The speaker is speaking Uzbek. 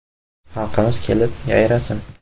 Xalqimiz kelib, yayrasin!